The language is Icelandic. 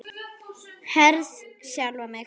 Herði sjálfa mig.